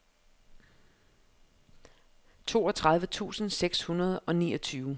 toogtredive tusind seks hundrede og niogtyve